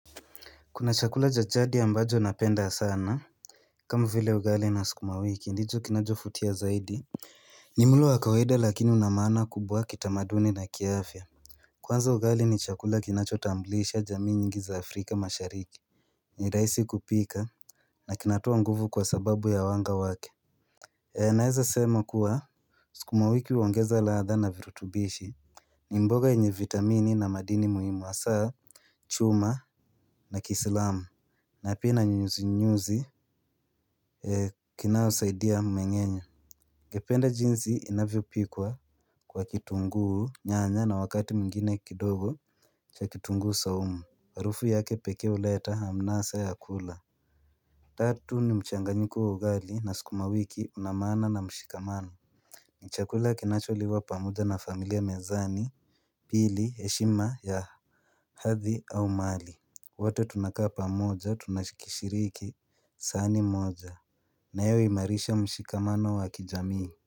Kuna chakula cha jadi ambacho napenda sana kama vile ugali na skumawiki ndicho kinacho futia zaidi ni mlo wakawaida lakini una maana kubwa kitamaduni na kiafya Kwanza ugali ni chakula kinacho tamblisha jamii nyingi za Afrika mashariki ni raisi kupika na kinatoa nguvu kwa sababu ya wanga wake E naeza sema kuwa sikumawiki huongeza ladha na virutubishi ni mboga yenye vitamini na madini muhimu asaa chuma na kislamu na pia ina nyuzi nyuzi kinao saidia mmeng'enyo Gependa jinzi inavyopikwa kwa kitunguu nyanya na wakati mngine kidogo cha kitunguu saumu harufu yake pekee uleta amnasa ya kula Tatu ni mchanga nyiko wa ugali na skuma wiki unamaana na mshikamano Nchakula kinacho liwa pamoja na familia mezani ili heshima ya hathi au mali wote tunakaa pamoja tunashikishiriki saani moja na yoi marisha mshikamano wa kijamii.